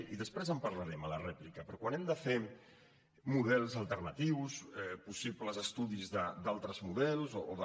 i després en parlarem a la rèplica però quan hem de fer models alternatius possibles estudis d’altres models o de